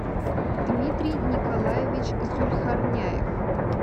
дмитрий николаевич зульхарняев